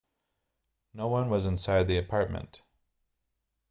no one was inside the apartment